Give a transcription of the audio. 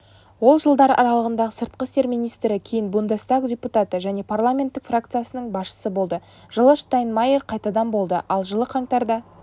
ол жылдар аралығында сыртқы істер министрі кейін бундестаг депутаты және парламенттік фракциясының басшысы болды жылы штайнмайер қайтадан болды ал жылы қаңтарда